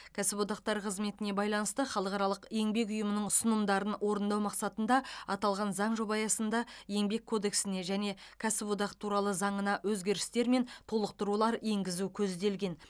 кәсіподақтар қызметіне байланысты халықаралық еңбек ұйымының ұсынымдарын орындау мақсатында аталған заң жобасы аясында еңбек кодексіне және кәсіподақ туралы заңына өзгерістер мен толықтырулар енгізу көзделген